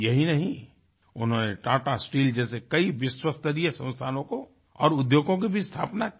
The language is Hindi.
यही नहीं उन्होंने टाटा स्टील जैसे कई विश्वस्तरीय संस्थानों को और उद्योगों की भी स्थापना की